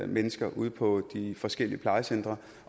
mennesker ude på de forskellige plejecentre